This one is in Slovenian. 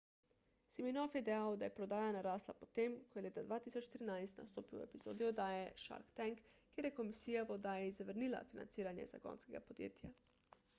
siminoff je dejal da je prodaja narasla po tem ko je leta 2013 nastopil v epizodi oddaje shark tank kjer je komisija v oddaji zavrnila financiranje zagonskega podjetja